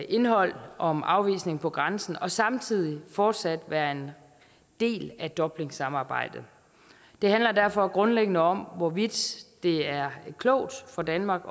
indhold om afvisning på grænsen og samtidig fortsat være en del af dublinsamarbejdet det handler derfor grundlæggende om hvorvidt det er klogt for danmark